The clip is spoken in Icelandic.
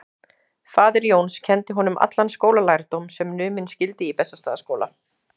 Faðir Jóns kenndi honum allan skólalærdóm sem numinn skyldi í Bessastaðaskóla.